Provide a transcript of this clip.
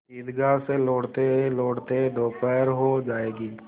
ईदगाह से लौटतेलौटते दोपहर हो जाएगी